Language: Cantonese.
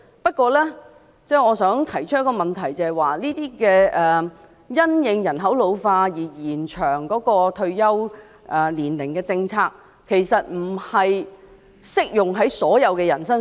不過，我想提出的問題是，這些因應人口老化而延長退休年齡的政策，其實並不適用於所有人身上。